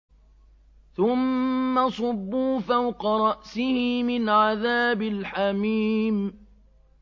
ثُمَّ صُبُّوا فَوْقَ رَأْسِهِ مِنْ عَذَابِ الْحَمِيمِ